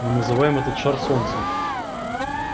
мы называем этот шар солнцем